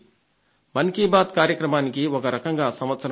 మన్ కీ బాత్ కార్యక్రమానికి ఒక రకంగా సంవత్సరం అయింది